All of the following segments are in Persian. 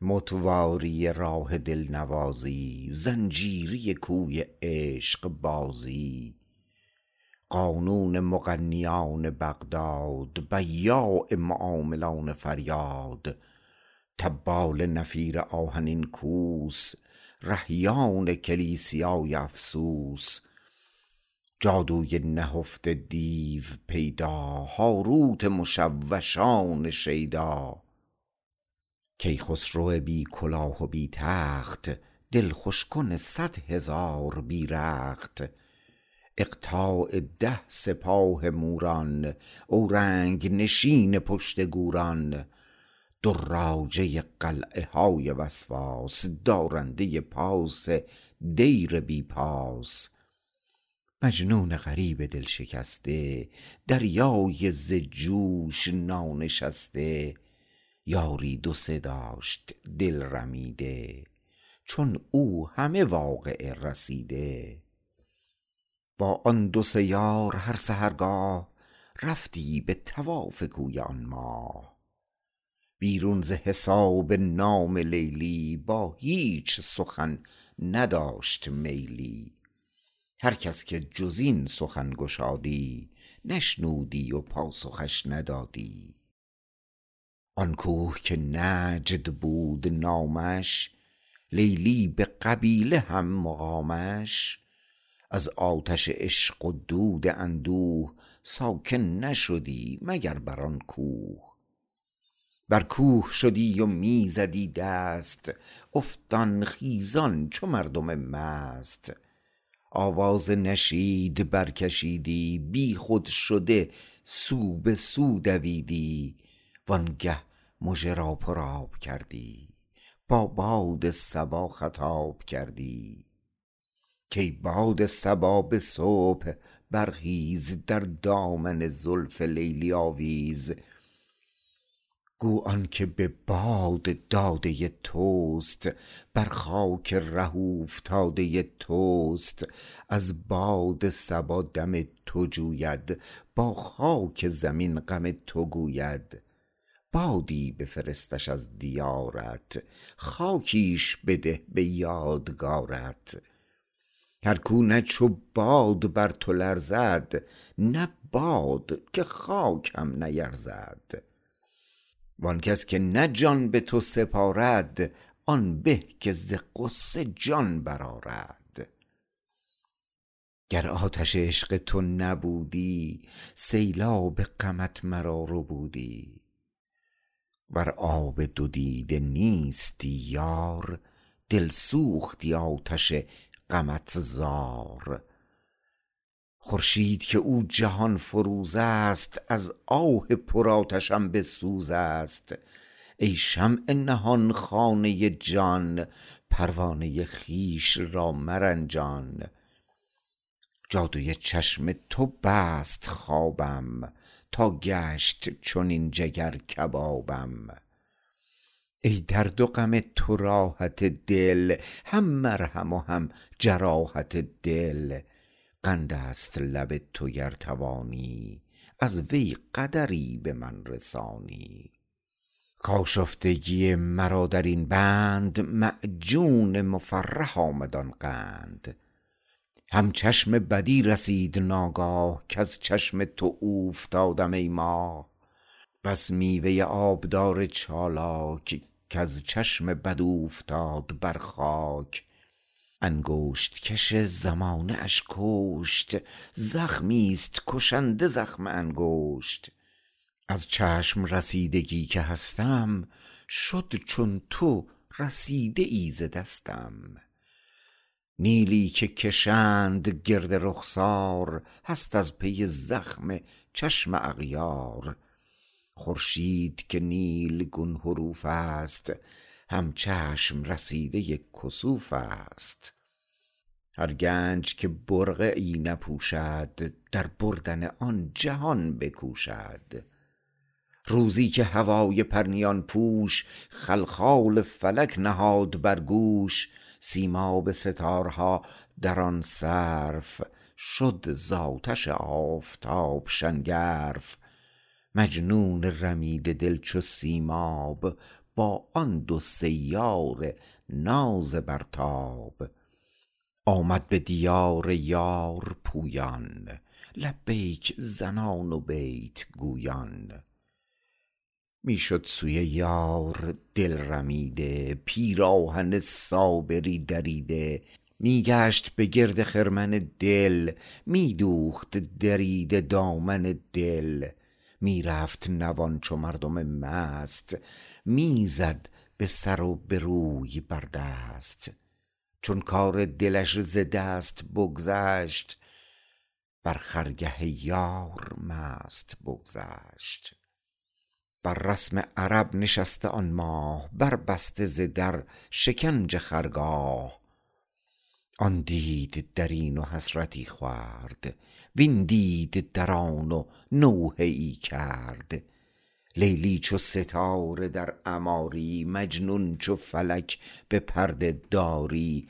متواری راه دل نوازی زنجیری کوی عشق بازی قانون مغنیان بغداد بیاع معاملان فریاد طبال نفیر آهنین کوس رهبان کلیسیای افسوس جادوی نهفته دیو پیدا هاروت مشوشان شیدا کیخسرو بی کلاه و بی تخت دل خوش کن صدهزار بی رخت اقطاع ده سپاه موران اورنگ نشین پشت گوران دراجه قلعه های وسواس دارنده پاس دیر بی پاس مجنون غریب دل شکسته دریای ز جوش نانشسته یاری دو سه داشت دل رمیده چون او همه واقعه رسیده با آن دو سه یار هر سحرگاه رفتی به طواف کوی آن ماه بیرون ز حساب نام لیلی با هیچ سخن نداشت میلی هر کس که جز این سخن گشادی نشنودی و پاسخش ندادی آن کوه که نجد بود نامش لیلی به قبیله هم مقامش از آتش عشق و دود اندوه ساکن نشدی مگر بر آن کوه بر کوه شدی و می زدی دست افتان خیزان چو مردم مست آواز نشید برکشیدی بی خود شده سو به سو دویدی وآنگه مژه را پر آب کردی با باد صبا خطاب کردی کای باد صبا به صبح برخیز در دامن زلف لیلی آویز گو آن که به باد داده توست بر خاک ره اوفتاده توست از باد صبا دم تو جوید با خاک زمین غم تو گوید بادی بفرستش از دیارت خاکیش بده به یادگارت هر کو نه چو باد بر تو لرزد نه باد که خاک هم نیرزد وآن کس که نه جان به تو سپارد آن به که ز غصه جان برآرد گر آتش عشق تو نبودی سیلاب غمت مرا ربودی ور آب دو دیده نیستی یار دل سوختی آتش غمت زار خورشید که او جهان فروز است از آه پرآتشم به سوز است ای شمع نهان خانه جان پروانه خویش را مرنجان جادو چشم تو بست خوابم تا گشت چنین جگر کبابم ای درد و غم تو راحت دل هم مرهم و هم جراحت دل قند است لب تو گر توانی از وی قدری به من رسانی کآشفتگی مرا در این بند معجون مفرح آمد آن قند هم چشم بدی رسید ناگاه کز چشم تو اوفتادم ای ماه بس میوه آب دار چالاک کز چشم بد اوفتاد بر خاک انگشت کش زمانه اش کشت زخمی ست کشنده زخم انگشت از چشم رسیدگی که هستم شد چون تو رسیده ای ز دستم نیلی که کشند گرد رخسار هست از پی زخم چشم اغیار خورشید که نیلگون حروف است هم چشم رسیده کسوف است هر گنج که برقعی نپوشد در بردن آن جهان بکوشد روزی که هوای پرنیان پوش خلخال فلک نهاد بر گوش سیم آب ستاره ها در آن صرف شد ز آتش آفتاب شنگرف مجنون رمیده دل چو سیم آب با آن دو سه یار ناز برتاب آمد به دیار یار پویان لبیک زنان و بیت گویان می شد سوی یار دل رمیده پیراهن صابری دریده می گشت به گرد خرمن دل می دوخت دریده دامن دل می رفت نوان چو مردم مست می زد به سر و به روی بر دست چون کار دلش ز دست بگذشت بر خرگه یار مست بگذشت بر رسم عرب نشسته آن ماه بر بسته ز در شکنج خرگاه آن دید در این و حسرتی خورد وین دید در آن و نوحه ای کرد لیلی چو ستاره در عماری مجنون چو فلک به پرده داری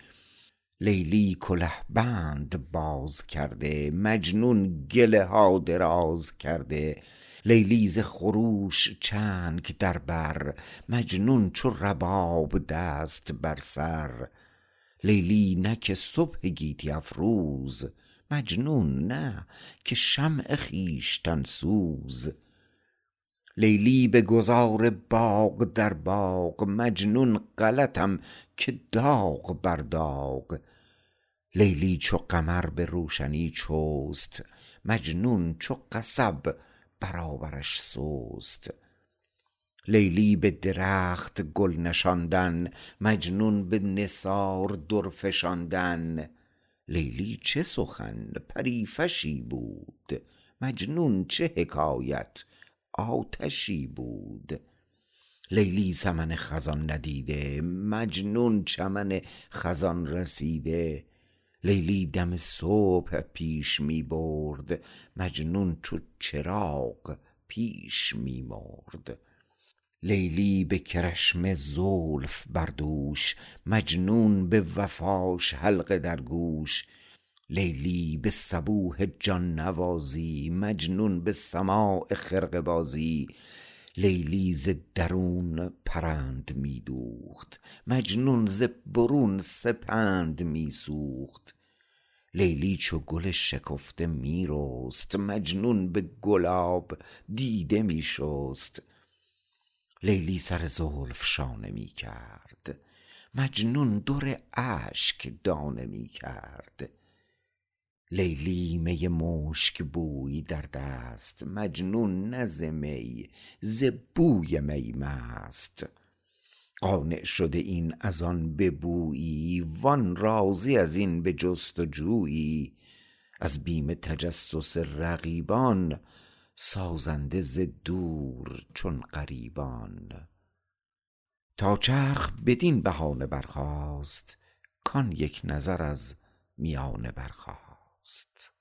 لیلی گله بند باز کرده مجنون گله ها دراز کرده لیلی ز خروش چنگ در بر مجنون چو رباب دست بر سر لیلی نه که صبح گیتی افروز مجنون نه که شمع خویشتن سوز لیلی بگذار باغ در باغ مجنون غلطم که داغ بر داغ لیلی چو قمر به روشنی چست مجنون چو قصب برابرش سست لیلی به درخت گل نشاندن مجنون به نثار در فشاندن لیلی چه سخن پری فشی بود مجنون چه حکایت آتشی بود لیلی سمن خزان ندیده مجنون چمن خزان رسیده لیلی دم صبح پیش می برد مجنون چو چراغ پیش می مرد لیلی به کرشمه زلف بر دوش مجنون به وفاش حلقه در گوش لیلی به صبوح جان نوازی مجنون به سماع خرقه بازی لیلی ز درون پرند می دوخت مجنون ز برون سپند می سوخت لیلی چو گل شکفته می رست مجنون به گلاب دیده می شست لیلی سر زلف شانه می کرد مجنون در اشک دانه می کرد لیلی می مشک بوی در دست مجنون نه ز می ز بوی می مست قانع شده این از آن به بویی وآن راضی از این به جستجویی از بیم تجسس رقیبان سازنده ز دور چون غریبان تا چرخ بدین بهانه برخاست کآن یک نظر از میانه برخاست